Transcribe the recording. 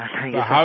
हाँ thank you सिर